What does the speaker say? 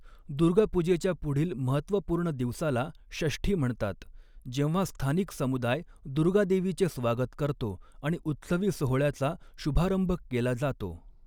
दुर्गापूजेच्या पुढील महत्त्वपूर्ण दिवसाला षष्ठी म्हणतात, जेव्हा स्थानिक समुदाय दुर्गादेवीचे स्वागत करतो आणि उत्सवी सोहळ्याचा शुभारंभ केला जातो.